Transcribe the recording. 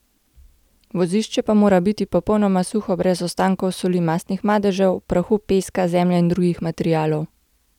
Vozišče pa mora biti popolnoma suho, brez ostankov soli, mastnih madežev, prahu, peska, zemlje in drugih materialov ...